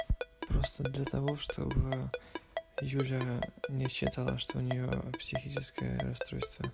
просто для того чтобы юля не считала что у неё психическое расстройство